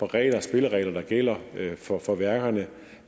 regler og spilleregler der gælder for for værkerne